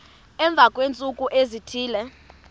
emva kweentsuku ezithile